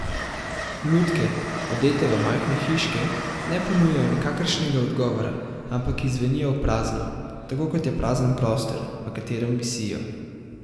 Lutke, odete v majhne hiške, ne ponujajo nikakršnega odgovora, ampak izzvenijo v prazno, tako kot je prazen prostor, v katerem visijo.